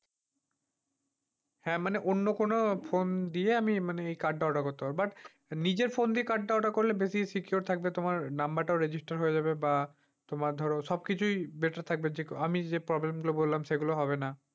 হ্যাঁ মানে অন্য কোন phone দিয়ে আমি মানে card order করতে পারবো but নিজের phone দিয়ে card order secure বেশি থাকবে। তোমার number register হয়ে যাবে বা, তোমার ধর সবকিছুই better থাকবে। যে আমি যেই problem গুলো বললাম সেইগুলো হবে না।